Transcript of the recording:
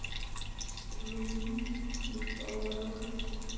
Súrt í broti.